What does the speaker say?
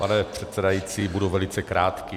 Pane předsedající, budu velice krátký.